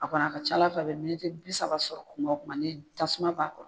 A kɔni a ka ca Ala fɛ a bi bi saba sɔrɔ kuma o kuma ni ye tasuma b'a kɔrɔ.